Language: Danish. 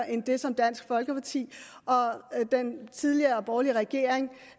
end dem som dansk folkeparti og den tidligere borgerlige regering